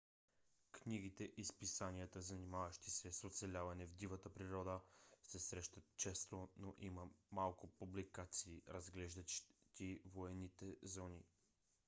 книгите и списанията занимаващи се с оцеляване в дивата природа се срещат често но има малко публикации разглеждащи военните зони